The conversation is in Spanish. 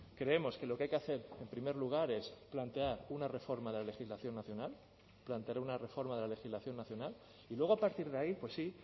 creemos que lo que hay que hacer en primer lugar es plantear una reforma de la legislación nacional plantear una reforma de la legislación nacional y luego a partir de ahí pues sí